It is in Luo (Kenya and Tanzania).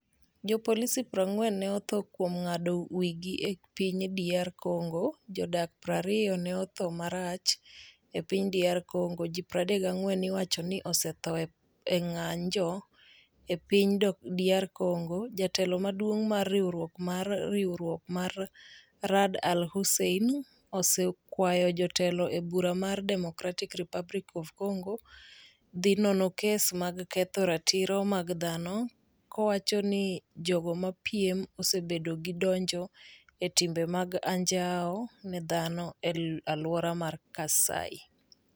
Jopolisi 40 ne otho kuom ng'ado wigi e piny DR Congo Jodak 20 ne otho marach e piny DR Congo Ji 34 iwacho ni osetho e ng'anjo e piny DR Congo Jatelo maduong' mar Riwruok mar Riwruok mar Ra'ad Al Hussein osekwayo jotelo e bura mar Democratic Republic of Congo dhi nono kes mag ketho ratiro mag dhano kowacho ni jogo mapiem osebedo gi donjo e timbe mag anjao ne dhano e aluora mar Kasai.